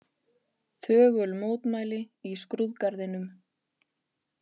Þögul mótmæli í skrúðgarðinum